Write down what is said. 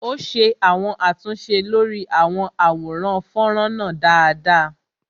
Ó ṣe àwọn àtúnṣe lórí àwọn àwòrán fọ́nrán náà dáadáa